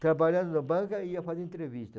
Trabalhando na banca, ia fazer entrevista.